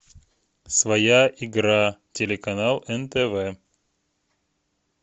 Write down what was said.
своя игра телеканал нтв